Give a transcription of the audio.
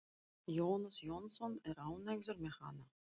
Jónas Jónsson er ánægður með hana.